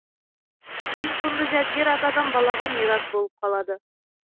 кейін құнды жәдігер атадан балаға мирас болып қалады